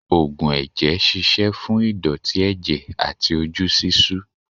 Ógùn ẹ̀jẹ̀ ṣíṣe fún ìdọ̀tí ẹ̀jẹ̀ àti ojú ṣíṣú.